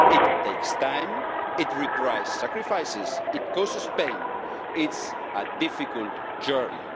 It takes time, it requires sacrifices, it causes pain, it is a difficult journey.